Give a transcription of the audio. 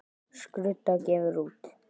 Skrudda gefur út.